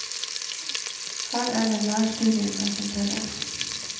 Her er det nærstudiene som teller.